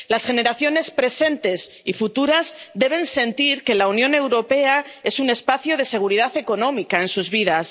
Las generaciones presentes y futuras deben sentir que la Unión Europea es un espacio de seguridad económica en sus vidas.